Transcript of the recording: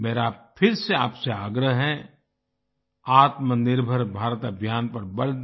मेरा फिर से आपसे आग्रह है आत्मनिर्भर भारत अभियान पर बल दें